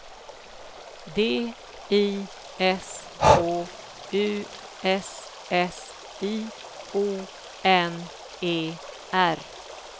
D I S K U S S I O N E R